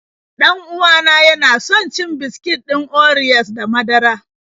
Dan uwa na yana son cin biskit ɗin oriyos da madara.